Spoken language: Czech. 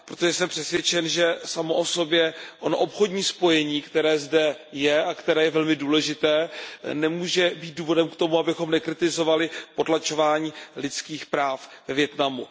Přesto jsem přesvědčen, že samo o sobě to obchodní spojení, které zde je a které je velmi důležité, nemůže být důvodem k tomu, abychom nekritizovali potlačování lidských práv ve Vietnamu.